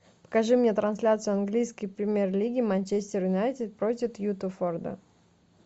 покажи мне трансляцию английской премьер лиги манчестер юнайтед против уотфорда